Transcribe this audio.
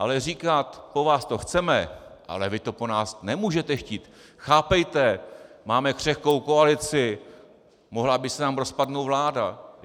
Ale říkat: Po vás to chceme, ale vy to po nás nemůžete chtít, chápejte, máme křehkou koalici, mohla by se nám rozpadnout vláda.